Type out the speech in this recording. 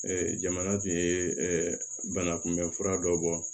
jamana tun ye banakunbɛn fura dɔ bɔ